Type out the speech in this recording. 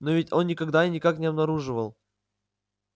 но ведь он никогда и никак не обнаруживал